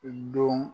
I don